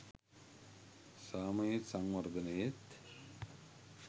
සාමයේත් සංවර්ධනයේත්